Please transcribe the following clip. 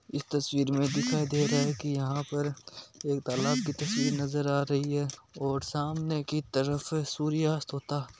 इश तस्वीर में हमें दिखाई दे रहा है यहाँ पर कलक की तस्वीर नजर आ रही है और सामने की तरफ सूर्यास्त हो --